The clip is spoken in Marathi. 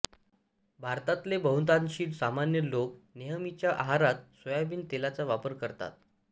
भारतातले बहुतांशी सामान्य लोक नेहमीच्या आहारत सोयाबीन तेलाचा वापर करतात